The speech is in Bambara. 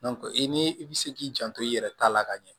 i ni i bi se k'i janto i yɛrɛ ta la ka ɲɛ